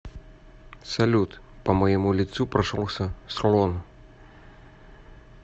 салют по моему лицу прошелся слон